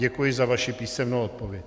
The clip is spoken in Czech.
Děkuji za vaši písemnou odpověď.